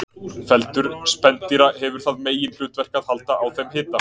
Feldur spendýra hefur það meginhlutverk að halda á þeim hita.